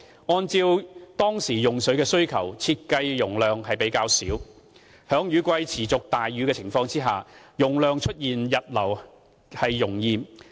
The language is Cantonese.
按照當時用水的需求，設計的容量較小，在雨季持續大雨的情況下，容易出現溢流。